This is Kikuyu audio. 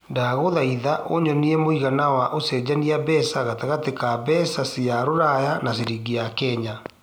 ndagũthaĩtha ũnyonîe mũigana wa ũcenjanĩa mbeca gatagatĩinĩ ka mbeca cia rũraya na ciringi ya Kenya